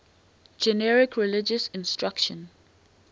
generic religious instruction